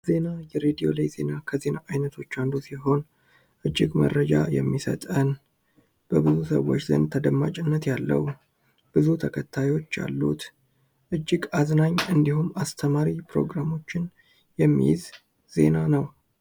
ዜና:-ሬድዮ ላይ ዜና ከዜና አይነቶች አንዱ ሲሆን እጅግ መረጃ የሚሰጠን በብዙ ሰዎች ዘንድ ተደማጭነት ያለው ብዙ ተከታዮች ያሉት እጅግ አዝናኝ እንዲሁም አስተማሪ ፕሮግራሞች የሚይዝ ዜና ነው።